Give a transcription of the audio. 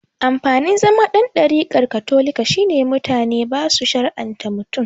Amfanin zama dan ɗarikar katolika shine mutane basu shar'anta mutum